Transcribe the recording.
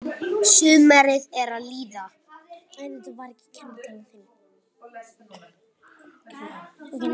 Sumarið er að líða.